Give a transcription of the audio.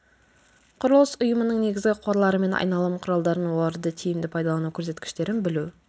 құрылыс ұйымының негізгі қорлары мен айналым құралдарын оларды тиімді пайдалану көрсеткіштерін білу